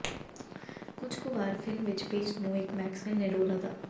ਕੁਝ ਕੁ ਵਾਰ ਫਿਲਮ ਵਿਚ ਪੇਸ਼ ਨੂੰ ਇੱਕ ਮੈਕਸਵੈਲ ਨੇ ਰੋਲ ਅਦਾ